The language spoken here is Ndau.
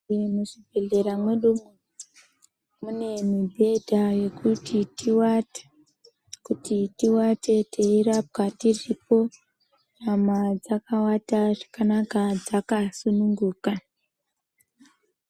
Muchibhedhlera mwedumwo mune mibhedha yekuti tivate. Kuti tivate teirapwa tiripo nyama dzakavata zvakanaka dzakasununguka.